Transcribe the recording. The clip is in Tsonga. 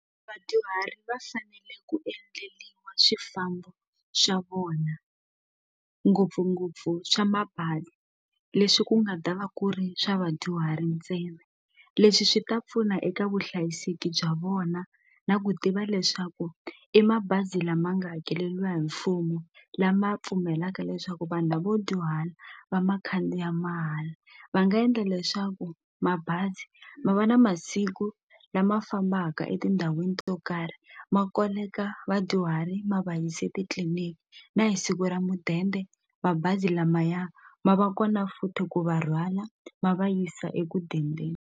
Vadyuhari va fanele ku endliwa swifambo swa vona ngopfungopfu swa mabazi leswi ku nga ta va ku ri swa vadyuhari ntsena leswi swi ta pfuna eka vuhlayiseki bya vona na ku tiva leswaku i mabazi lama nga hakeleliwa hi mfumo lama pfumelaka leswaku vanhu lavo dyuhala va ma khandziya mahala va nga endla leswaku mabazi ma va na masiku lama fambaka etindhawini to karhi ma koleka vadyuhari ma va yisa etitliniki na hi siku ra mudende mabazi lamaya ma va kona futhi ku va rhwala ma va yisa eku dendeni.